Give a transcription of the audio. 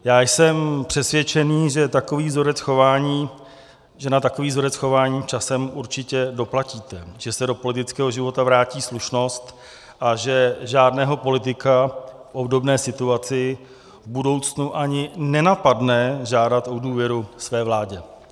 Já jsem přesvědčen, že na takový vzorec chování časem určitě doplatíte, že se do politického života vrátí slušnost a že žádného politika v obdobné situaci v budoucnu ani nenapadne žádat o důvěru své vládě.